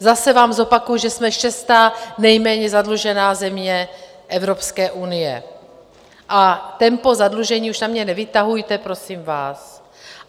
Zase vám zopakuji, že jsme šestá nejméně zadlužená země Evropské unie, a tempo zadlužení už na mě nevytahujte, prosím vás.